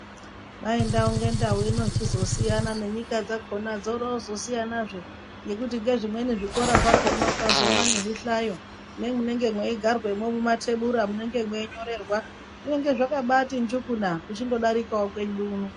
Kwai ndau ngendau inochizosiyana nenyika dzakona dzorozosiyana zve nezvimweni zvikora ukazoona nezvihlayo meigarwa mumatebhura munenge meinyorerwa zvinenge zvakabati njukuba uchingodarika kwedu uno .